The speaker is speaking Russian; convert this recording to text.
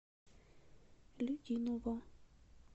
людиново